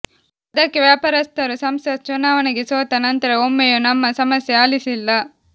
ಅದಕ್ಕೆ ವ್ಯಾಪಾರಸ್ಥರು ಸಂಸತ್ ಚುನಾವಣೆಗೆ ಸೋತ ನಂತರ ಒಮ್ಮೆಯೂ ನಮ್ಮ ಸಮಸ್ಯೆ ಆಲಿಸಿಲ್ಲ